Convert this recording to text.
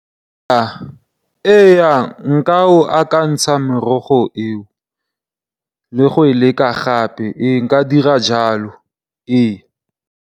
Ee nka e akantsha merogo eo le go e leka gape. Ee nka dira jalo ee.